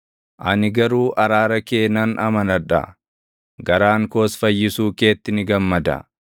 Ani garuu araara kee nan amanadha; garaan koos fayyisuu keetti ni gammada.